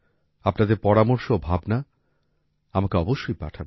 আপনাদের পরামর্শ ও ভাবনা আমাকে অবশ্যই পাঠাবেন